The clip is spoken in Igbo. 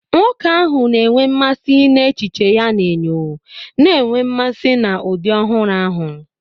Nwoke ahụ na-enwe mmasị n'echiche ya na enyo, na-enwe mmasị na ụdị ọhụrụ ahụ.